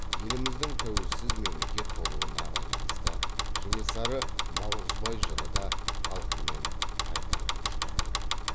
еліміздің тәуелсіз мемлекет болуына байланысты кенесары наурызбай жыры да халқымен қайта кауышты